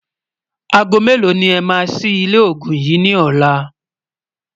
àgọ̀ mẹ̀lò ní é má sí ilé ògún yín ní ọlá?